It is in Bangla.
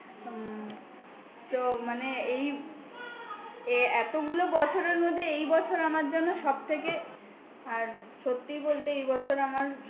উম তো মানে এই এ এতগুলো বছরের মধ্যে এই বছর আমার জন্য সব থেকে আর সত্যি বলতে এই বছর আমার সব থেকে